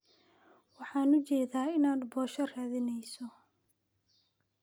Wan ujedhaa inan posho raadineyso.